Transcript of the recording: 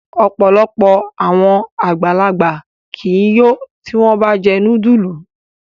Ọpọlọpọ awọn agbalagba ki i yo ti wọn ba jẹ nudulu